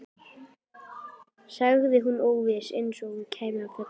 sagði hún óviss, eins og hún kæmi af fjöllum.